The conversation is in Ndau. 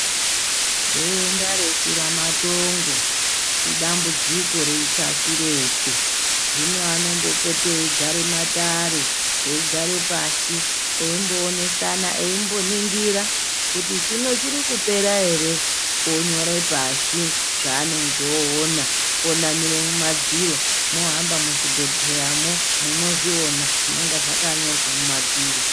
Denda reshuramatongo chidambidziko repashi reshe hino anombopote eigare matare eigare pashi eimboonesana , eimboningira kuti chino chirikupera ere onyore pashii zvaanenge oona vonamire kumadziro mohamba kuzvibhedhleramo munozviona zvinonga zvakanyorwa mumadziro.